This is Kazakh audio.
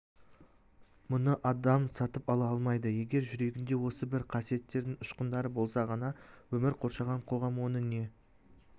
мұны адам сатып ала алмайды егер жүрегінде осы бір қасиеттердің ұшқындары болса ғана өмір қоршаған қоғам оны не